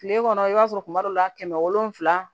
Kile kɔnɔ i b'a sɔrɔ kuma dɔ la kɛmɛ wolonfila